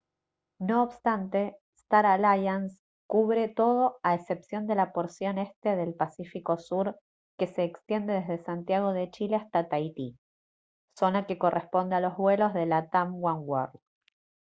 no obstante star alliance cubre todo a excepción de la porción este del pacífico sur que se extiende desde santiago de chile hasta tahití zona que corresponde a los vuelos de latam oneworld